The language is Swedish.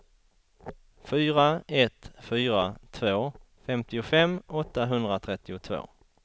fyra ett fyra två femtiofem åttahundratrettiotvå